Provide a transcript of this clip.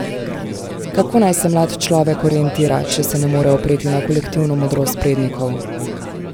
Kako naj se mlad človek orientira, če se ne more opreti na kolektivno modrost prednikov?